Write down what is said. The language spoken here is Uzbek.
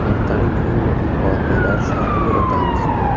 Haftaning eng muhim voqealari sharhiga o‘tamiz.